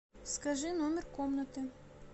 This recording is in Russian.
скажи номер комнаты